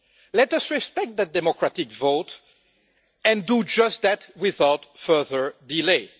Let us respect the democratic vote and do just that, without further delay.